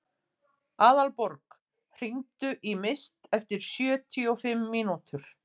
Aðalborg, hringdu í Mist eftir sjötíu og fimm mínútur.